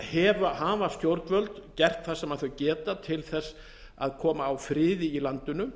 uribes hafa stjórnvöld gert það sem þau geta til þess að koma á friði í landinu